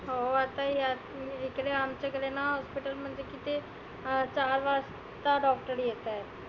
हो आता यात इकडे आमच्याकडे ना hospital म्हणजे की ते अं सहा वाजता doctor येताहेत.